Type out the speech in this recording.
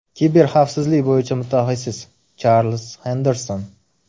Kiberxavfsizlik bo‘yicha mutaxassis, Charlz Xenderson.